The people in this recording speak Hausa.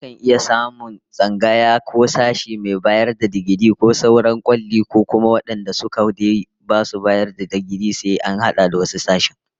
Akan iya samun tsangaya ko sashe mai bayar da digiri ko sauran kwali, ko kuma wadanda su kadai basu bayar da digiri sai sun hada da wasu sassan